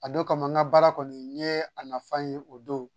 A don kama n ka baara kɔni n ye a nafa ye o don